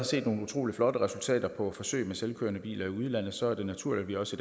set nogle utrolig flotte resultater på forsøg med selvkørende biler i udlandet så er det naturligt at vi også